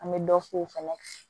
An bɛ dɔ k'o fɛnɛ kan